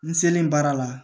N selen baara la